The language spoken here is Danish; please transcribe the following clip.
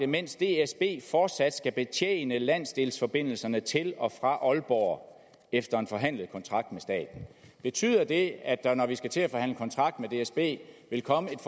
mens dsb fortsat skal betjene landsdelsforbindelserne til og fra aalborg efter en forhandlet kontrakt med staten betyder det at der når vi skal til at forhandle kontrakt med dsb vil komme et